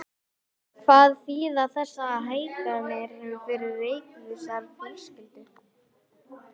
Hvað þýða þessar hækkanir fyrir reykvískar fjölskyldur?